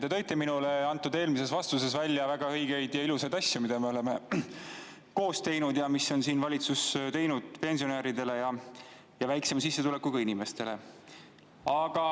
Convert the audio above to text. Te tõite minule antud eelmises vastuses välja väga õigeid ja ilusaid asju, mida me oleme koos teinud ja mis on valitsus teinud pensionäridele ja väiksema sissetulekuga inimestele.